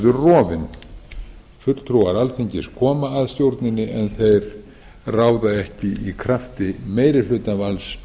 rofin fulltrúar alþingis koma að stjórninni en þeir ráða ekki í krafti meirihlutavalds